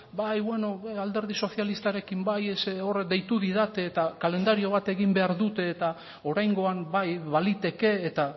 bai bueno alderdi sozialistarekin bai ze horiek deitu didate eta kalendario bat egin behar dute eta oraingoan bai baliteke eta